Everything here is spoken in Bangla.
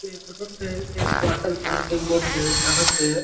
এই ফটো -তেই এক ওয়াটার পার্ক -এর বটে যাহাতে --